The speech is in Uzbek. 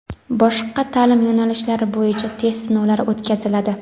boshqa taʼlim yo‘nalishlari bo‘yicha test sinovlari o‘tkaziladi.